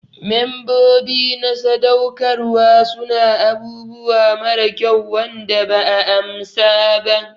Membobi na sadaukarwa su na abubuwa mara kyau Wanda ba 'a amsa ba.